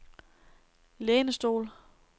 lænestol